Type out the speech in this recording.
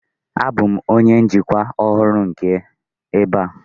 Abụ m onye njikwa ọhụrụ nke ebe a.